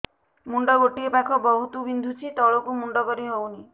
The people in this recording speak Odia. ମୁଣ୍ଡ ଗୋଟିଏ ପାଖ ବହୁତୁ ବିନ୍ଧୁଛି ତଳକୁ ମୁଣ୍ଡ କରି ହଉନି